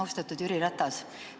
Austatud Jüri Ratas!